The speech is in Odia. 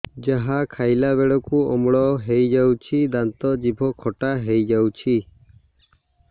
ଯାହା ଖାଇଲା ବେଳକୁ ଅମ୍ଳ ହେଇଯାଉଛି ଦାନ୍ତ ଜିଭ ଖଟା ହେଇଯାଉଛି